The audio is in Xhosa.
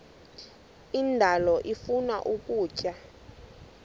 indalo ifuna ukutya